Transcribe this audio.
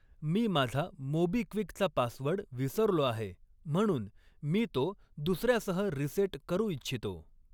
मी माझा मोबिक्विकचा पासवर्ड विसरलो आहे म्हणून मी तो दुसर्यासह रीसेट करू इच्छितो.